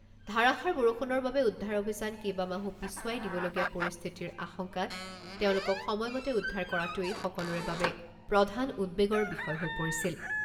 ধাৰাষাৰ বৰষুণৰ বাবে উদ্ধাৰ অভিযান কেইবামাহো পিছুৱাই দিবলগীয়া পৰিস্থিতিৰ আশংকাত তেওঁলোকক সময়মতে উদ্ধাৰ কৰাটোৱেই সকলোৰে বাবে প্ৰধান উদ্বেগৰ বিষয় হৈ পৰিছিল।